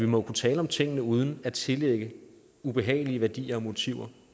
må kunne tale om tingene uden at tillægge ubehagelige værdier og motiver